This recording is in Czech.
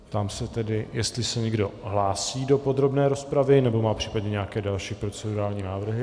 Ptám se tedy, jestli se někdo hlásí do podrobné rozpravy nebo má případně nějaké další procedurální návrhy.